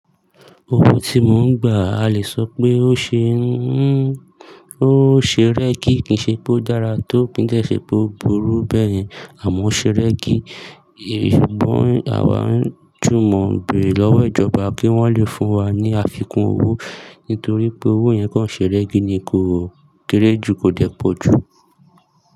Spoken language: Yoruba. Owó tí mò ń gbà, a le sọ pé ó ṣe rẹ́gí kìí ṣe pé ó dára tó, kii dẹ ṣe pé ó burú bẹyẹn, àmọ́ ó ṣe rẹ́gí. Ṣùgbọ́n àwa ń jùmọ̀ béèrè lọ́wọ́ ìjọba kí wọ́n lè fún wa ní àfikún owó, nítorí pé owó yẹn kàn ṣe rẹ́gí ni kò kéré jù, kò dẹ́ pọ̀ jù.